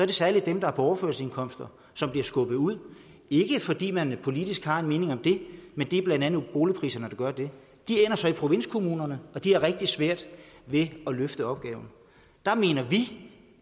det særlig dem der er på overførselsindkomster som bliver skubbet ud ikke fordi man politisk har en mening om det men det er blandt andet boligpriserne der gør det de ender så i provinskommunerne og de har rigtig svært ved at løfte opgaven der mener vi